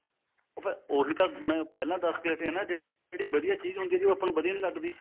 ਉਹੀ ਤਾਂ ਮੈਂ ਪਹਿਲਾਂ ਦਸ ਕੇ ਹਟਿਆ ਜਿਹੜੀ ਵਧੀਆ ਚੀਜ ਹੁੰਦੀ ਐ ਉਹ ਆਪਾਂ ਨੂੰ ਵਧੀਆਂ ਨਹੀਂ ਲਗਦੀ